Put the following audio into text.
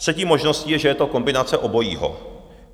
Třetí možností je, že je to kombinace obojího.